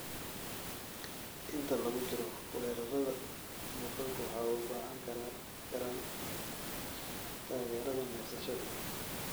Inta lagu jiro weerarrada, bukaanku waxay u baahan karaan taageerada neefsashada.